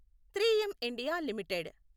three M India limited